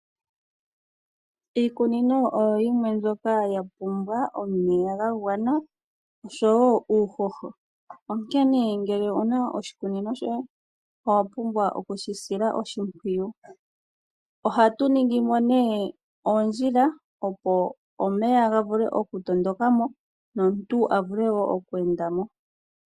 Iikunino oyo yimwe mbyoka yapumbwa omeya gwagwana oshowoo uuhoho . Ngele owuna oshikunino shoye owapumbwa okushi sila oshimpwiyu . Ohatu ningimo oondjila opo omeya gavule okutondokamo nomuntu avule okweendamo.